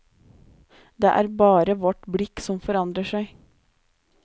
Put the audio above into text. Det er bare vårt blikk som forandrer seg.